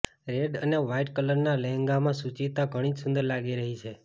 red અને white કલરનાં લહેંગામાં સુચિતા ઘણી જ સુંદર લાગી રહી છે